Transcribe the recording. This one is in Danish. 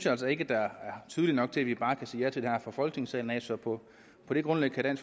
altså ikke er tydeligt nok til at vi bare kan sige ja til det her folketingssalen så på det grundlag kan